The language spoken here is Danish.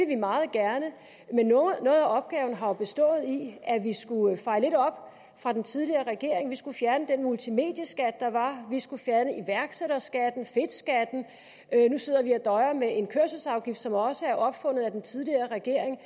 vi meget gerne men noget af opgaven har jo bestået i at vi skulle feje lidt op fra den tidligere regering vi skulle fjerne den multimedieskat der var vi skulle fjerne iværksætterskatten fedtskatten nu sidder vi og døjer med en kørselsafgift som også er opfundet af den tidligere regering